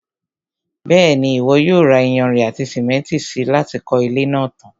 Bẹ́ẹ̀ni, Ìwọ yóò ra iyanrìn àti sìmẹ́ntì si láti kọ́ ilé náà tan.